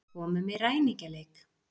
Komum í ræningjaleik.